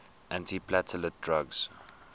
antiplatelet drugs